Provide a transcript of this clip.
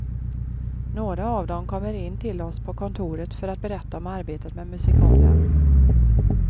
Några av dem kommer in till oss på kontoret för att berätta om arbetet med musikalen.